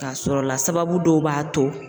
K'a sɔr'o la sababu dɔw b'a to